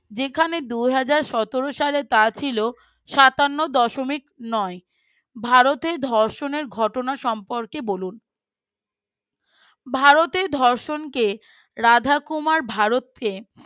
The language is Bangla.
যেখানে দুই হাজার সতেরো সালের তা ছিল সাতান্ন দশমিক নয় । ভারতের ধর্ষণের ঘটনা সম্পর্কে বলুন । ভারতের ধর্ষণকে রাধাকুমার ভারতকে